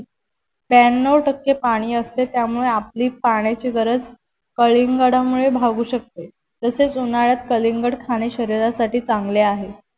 ब्यानऊ टक्के पानी असते त्यामुळे आपली पाण्याची गरज कलिंगडामुळे भागू शकते तसेच उन्हाळ्यात कलिंगड खाणे शरीरासाथी चांगले आहे